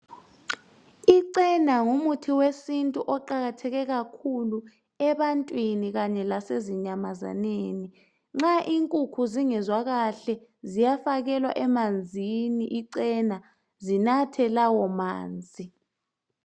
Icena ngumuthi wesintu eqakatheke kakhulu ebantwini kanye lasezinyamazaneni. Nxa inkukhu zingezwa kahle ziyafakelwa emanzini icena zinathe lawo manzi.